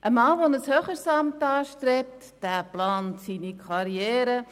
Ein Mann, der ein höheres Amt anstrebt, plant seine Karriere.